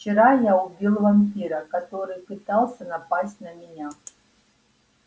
вчера я убил вампира который пытался напасть на меня